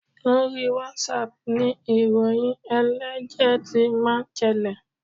Lórí WhatsApp ni ìròyìn ẹlẹ́jẹ̀ ti máa ń ṣẹlẹ̀.